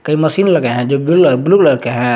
कई मशीन लगे है जो बुल ब्ल्यू कलर के है।